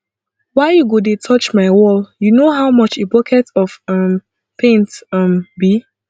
why you go dey touch my wall you know how much a bucket of um paint um be